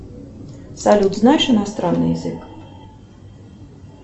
салют знаешь иностранный язык